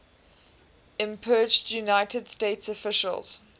impeached united states officials